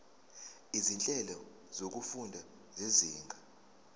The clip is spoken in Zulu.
izinhlelo zokufunda zezinga